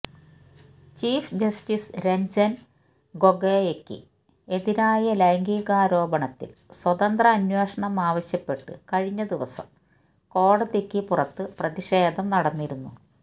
chief justice Ranjan ഗൊഗോയ്ക്ക് എതിരായ ലൈംഗികാരോപണത്തില് സ്വതന്ത്ര അന്വേഷണം ആവശ്യപ്പെട്ട് കഴിഞ്ഞ ദിവസം കോടതിക്ക് പുറത്ത് പ്രതിഷേധം നടന്നിരുന്നു